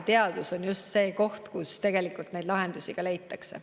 Teadus on just see koht, kus neid lahendusi leitakse.